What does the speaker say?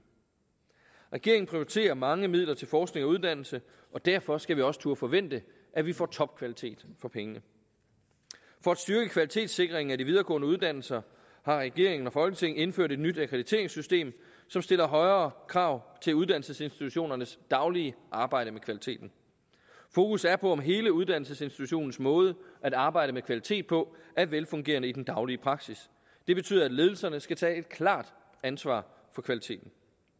regeringen prioriterer mange midler til forskning og uddannelse og derfor skal vi også turde forvente at vi får topkvalitet for pengene for at styrke kvalitetssikringen af de videregående uddannelser har regeringen og folketinget indført et nyt akkrediteringssystem som stiller højere krav til uddannelsesinstitutionernes daglige arbejde med kvaliteten fokus er på om hele uddannelsesinstitutionens måde at arbejde med kvalitet på er velfungerende i den daglige praksis det betyder at ledelserne skal tage et klart ansvar for kvaliteten